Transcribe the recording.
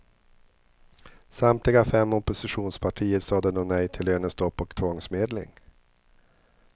Samtliga fem oppositionspartier sade då nej till lönestopp och tvångsmedling.